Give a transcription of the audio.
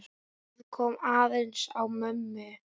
Það kom aðeins á mömmu.